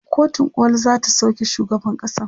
kotun koli zata sauke shugaban kasan